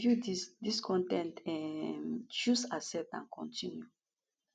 to view dis dis con ten t um choose accept and continue